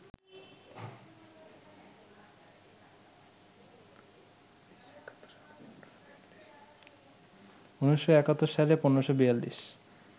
১৯৭১ সালে ১৫৪২